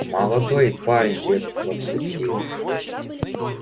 молодой парень лет двадцати